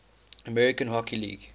american hockey league